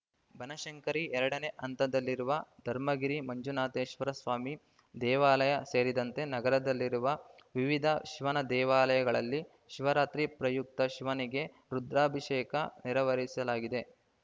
ಬನಶಂಕರಿ ಎರಡನೇ ಹಂತದಲ್ಲಿರುವ ಧರ್ಮಗಿರಿ ಮಂಜುನಾಥೇಶ್ವರ ಸ್ವಾಮಿ ದೇವಾಲಯ ಸೇರಿದಂತೆ ನಗರದಲ್ಲಿರುವ ವಿವಿಧ ಶಿವನ ದೇವಾಲಯಗಳಲ್ಲಿ ಶಿವರಾತ್ರಿ ಪ್ರಯುಕ್ತ ಶಿವನಿಗೆ ರುದ್ರಾಭಿಷೇಕ ನೆರವರಿಸಲಾಗಿದೆ